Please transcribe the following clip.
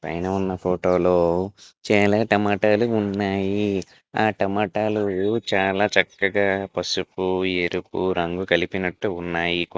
చిన్న ఫోటోలు చేయలేక టమాటాలు ఉన్నాయి ఆ టమాటాలు చాలా చక్కగా పసుపు ఎరుపు రంగు కలిపినట్టు ఉన్నాయి--